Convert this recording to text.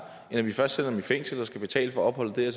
end at vi først sætter dem i fængsel og skal betale for opholdet dér